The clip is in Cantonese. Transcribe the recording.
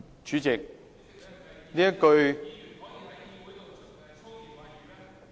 主席，這一句......